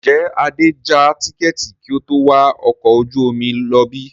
Ǹjẹ́ Adé ja tikẹ́ẹ́tì kí ó tó wà ọkọ̀ ojú omi lọ bí?